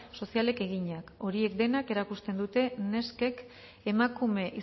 sozialek eginak horiek denek erakusten dute neskek emakume